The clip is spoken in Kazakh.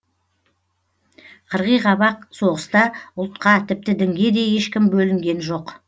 қырғиқабақ соғыста ұлтқа тіпті дінге де ешкім бөлінген жоқ